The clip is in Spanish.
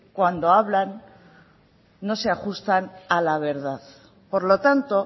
cuando hablan no se ajustan a la verdad por lo tanto